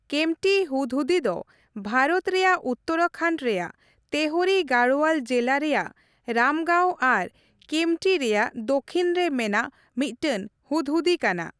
ᱠᱮᱢᱯᱴᱤ ᱦᱩᱫᱽᱦᱩᱫᱤ ᱫᱚ ᱵᱷᱟᱨᱚᱛ ᱨᱮᱭᱟᱜ ᱩᱛᱛᱚᱨᱟᱠᱷᱚᱱᱰ ᱨᱮᱭᱟᱜ ᱛᱮᱦᱚᱨᱤ ᱜᱟᱲᱳᱣᱟᱞ ᱡᱤᱞᱟ ᱨᱮᱭᱟᱜ ᱨᱟᱢᱽᱜᱟᱶ ᱟᱨ ᱠᱮᱢᱯᱴᱤ ᱨᱮᱭᱟᱜ ᱫᱚᱠᱷᱤᱱ ᱨᱮ ᱢᱮᱱᱟᱜ ᱢᱤᱫᱴᱮᱱ ᱦᱩᱫᱽᱦᱩᱫᱤ ᱠᱟᱱᱟ ᱾